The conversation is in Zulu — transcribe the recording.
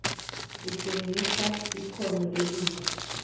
kutshengisa ikhono elihle